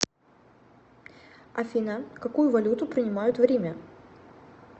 афина какую валюту принимают в риме